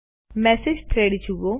message thread જુઓ